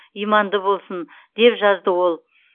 иманды болсын деп жазды ол